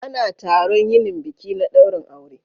Ana taron yinin biki na dairin aure